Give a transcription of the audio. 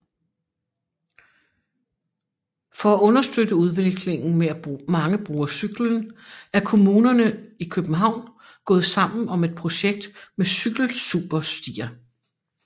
For at understøtte udviklingen med at mange bruger cyklen er komunerne i København gået sammen om et projekt med Cykelsuperstier